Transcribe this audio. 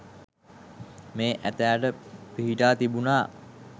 මේ ඇතාට පිහිටා තිබුනා.